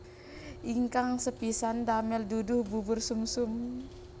Ingkang sepisan damel duduh bubur sumsum